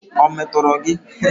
Ọ̀ metọrọ gị?